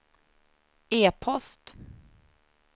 e-post